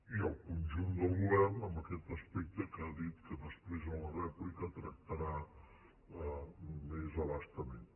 i el conjunt del govern en aquest aspecte que ha dit que després a la rèplica tractarà més a bastament